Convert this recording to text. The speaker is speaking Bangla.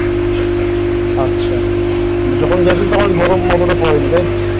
আচ্ছা যখন গিয়েছিলিস মানে তখন গরম অতটা পরেনি, তাই তো?